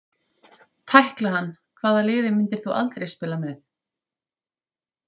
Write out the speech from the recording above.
Tækla hann Hvaða liði myndir þú aldrei spila með?